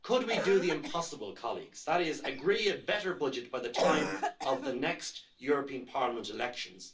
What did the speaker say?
Could we do the impossible, colleagues? That is, agree a better budget by the time of the next European Parliament elections.